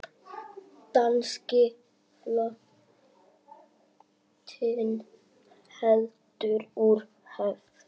Danski flotinn heldur úr höfn!